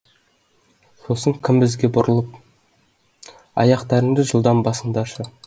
сосын кім бізге бұрылып аяқтарыңды жылдам басыңдаршы